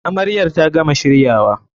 Amaryar ta gama shiryawa.